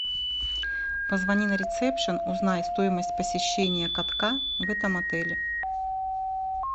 позвони на ресепшн узнай стоимость посещения катка в этом отеле